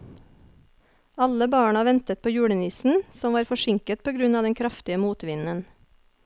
Alle barna ventet på julenissen, som var forsinket på grunn av den kraftige motvinden.